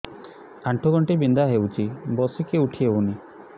ଆଣ୍ଠୁ ଗଣ୍ଠି ବିନ୍ଧା ହଉଚି ବସିକି ଉଠି ହଉନି